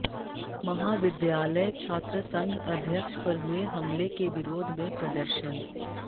महाविद्यालय छात्रसंघ अध्यक्ष पर हुए हमले के विरोध में प्रदर्शन